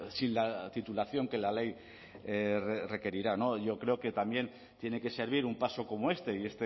sin la titulación que la ley requerirá y yo creo que también tiene que servir un paso como este y